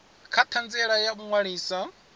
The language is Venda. kha ṱhanziela ya u ṅwalisa